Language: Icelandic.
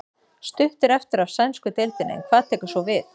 Stutt er eftir af sænsku deildinni en hvað tekur svo við?